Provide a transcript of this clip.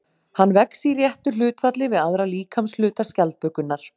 Hann vex í réttu hlutfalli við aðra líkamshluta skjaldbökunnar.